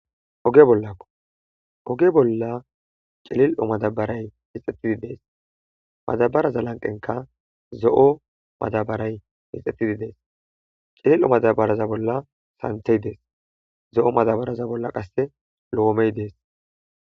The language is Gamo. Oge bollakko oge bolla cilil7o madabaray mixxettidi dees madabaraza lanqenka zo7o madabaray mixetidi dees cilil7o madabaraza bolla santey dees zo7o madabaraza bolla qasse loomey dees.